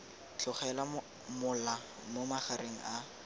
tlogela mola mo magareng a